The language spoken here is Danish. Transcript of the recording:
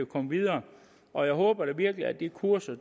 komme videre og jeg håber virkelig at de kurser